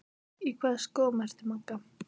Hann veigraði sér við að fást við altarisbríkina.